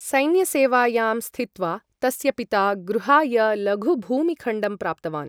सैन्यसेवायां स्थित्वा, तस्य पिता गृहाय लघुभूमिखण्डं प्राप्तवान् ।